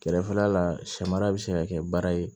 Kɛrɛfɛla la sɛmara bɛ se ka kɛ baara ye